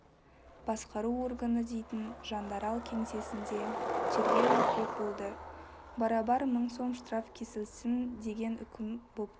басқару органы дейтн жандарал кеңсесінде тергеу өтпек болды барабар мың сом штраф кесілсін деген үкім бопты